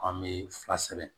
An bɛ fila sɛbɛn